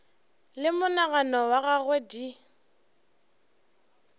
le monagano wa gagwe di